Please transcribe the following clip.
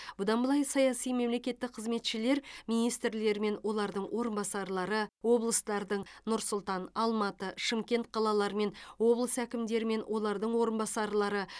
бұдан былай саяси мемлекеттік қызметшілер министрлер мен олардың орынбасарлары облыстардың нұр сұлтан алматы шымкент қалалары мен облыс әкімдері мен олардың орынбасарлары